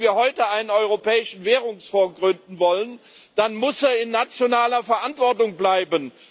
Und wenn wir heute einen Europäischen Währungsfonds gründen wollen, dann muss er in nationaler Verantwortung bleiben.